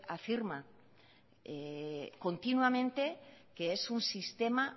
afirma continuamente que es un sistema